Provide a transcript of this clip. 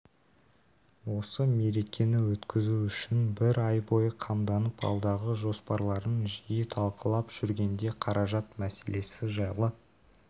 осы мерекені өткізу үшін бір ай бойы қамданып алдағы жоспарларын жиі талқылап жүргенде қаражат мәселесі жайлы